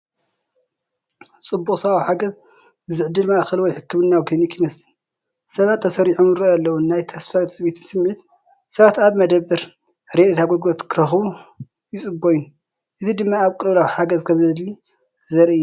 ጽዑቕ ሰብኣዊ ሓገዝ ዝዕድል ማእከል ወይ ሕክምናዊ ክሊኒክ ይመስል፣ ሰባት ተሰሪዖም ይራኣዩ ኣለው፡፡ ናይ ተስፋን ትጽቢትን ስምዒት ፣ሰባት ኣብቲ መደበር ረድኤት ኣገልግሎት ክረኽቡ ይጽበዩን፡ እዚ ድማ ኣብ ቅልውላው ሓገዝ ከምዘድሊ ዘርኢ እዩ።